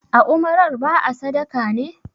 a umarar ba a sadaka ne!